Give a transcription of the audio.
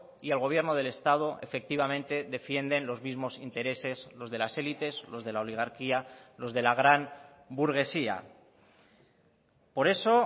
y el gobierno del estado efectivamente defienden los mismos intereses los de las élites los de la oligarquía los de la gran burguesía por eso